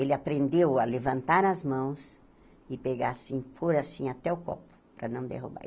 Ele aprendeu a levantar as mãos e pegar assim, pôr assim até o copo, para não derrubar.